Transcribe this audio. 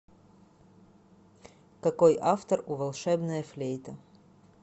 какой автор у волшебная флейта